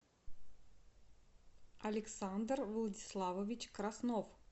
александр владиславович краснов